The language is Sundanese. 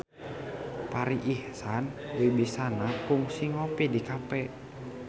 Farri Icksan Wibisana kungsi ngopi di cafe